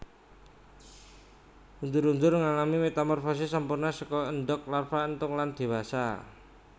Undur undur ngalami metamorfosis sampurna saka endog larva entung lan dewasa